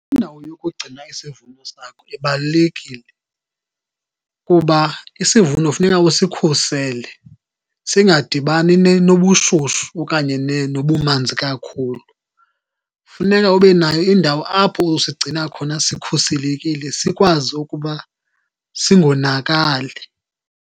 Indawo yokugcina isivuno sakho ibalulekile, kuba isivuno funeka usikhusele singadibani nobushushu okanye nobumanzi kakhulu. Funeka ube nayo indawo apho usigcina khona sikhuselekile, sikwazi ukuba singonakali.